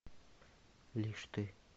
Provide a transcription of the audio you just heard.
лишь ты